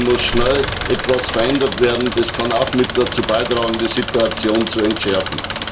Hier muss schnell etwas verändert werden, und dies kann auch mit dazu beitragen, die Situation zu entschärfen.